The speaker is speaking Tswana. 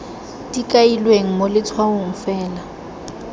di kailweng mo letshwaong fela